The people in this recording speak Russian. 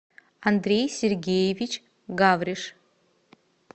андрей сергеевич гавриш